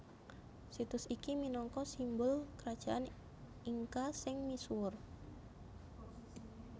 Situs iki minangka simbul Krajaan Inka sing misuwur